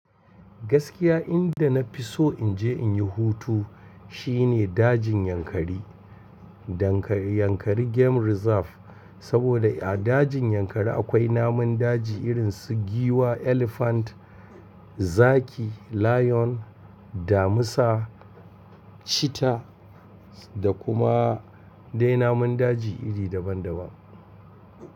Gaskiya inda na fi so in je in yi hutu shine dajin Yankari. Dankari Yankari Game Reserve saboda a dajin Yankari akwai namun daji irin su giwa, elephant, zaki, lion, damisa, cheetah da kuma dai namun daji iri daban daban.